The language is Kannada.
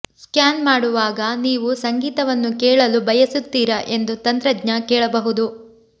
ಸ್ಕ್ಯಾನ್ ಮಾಡುವಾಗ ನೀವು ಸಂಗೀತವನ್ನು ಕೇಳಲು ಬಯಸುತ್ತೀರಾ ಎಂದು ತಂತ್ರಜ್ಞ ಕೇಳಬಹುದು